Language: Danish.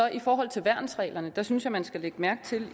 i forhold til værnsreglerne synes jeg man skal lægge mærke til det